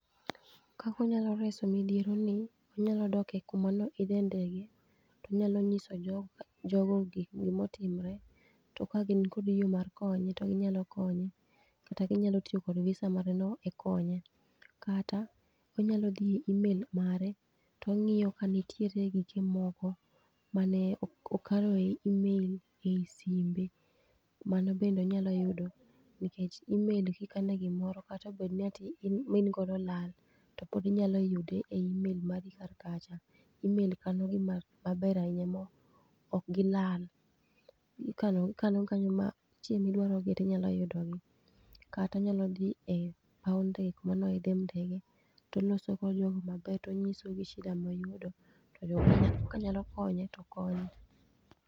Kakonyalo reso midhiero ni, onyalo doke kuma niodhe ndege, tonyalo nyiso jogo gikgi motimre. To ka gin kod yo mar konye to ginyalo konye, kata ginyalo tiyo kod VISA mare no e konye. Kata, onyalo dhi imel mare tong'iyo ka nitiere gige moko mane okano e imel ei simbe. Mano bende onyalo yudo nikech imel gikane gimoro katobedni ma in godo olal, to pod inyalo yude e imel mari kar kacha. Imel kano gi maber ahinya mo, ok gilal. Ikano ikano gi kanyo ma chiemng' midwarogi tinyalo yudo gi. Kata onyalo dhie e paw ndege kuma noidhe ndege, toloso kod jogo maber tonyiso gi shida moyudo. To jogo ka nyalo konye to konye.